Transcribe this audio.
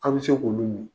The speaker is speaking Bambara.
An bɛ se k'olu min